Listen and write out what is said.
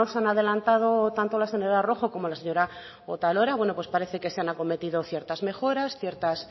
han adelantado tanto la señora rojo como la señora otalora bueno pues parece que se han acometido ciertas mejoras ciertas